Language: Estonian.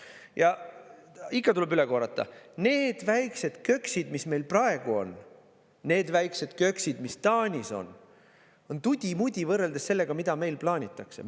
Ja ikka tuleb üle korrata: need väiksed köksid, mis meil praegu on, need väiksed köksid, mis Taanis on, on tudi-mudi võrreldes sellega, mida meil plaanitakse.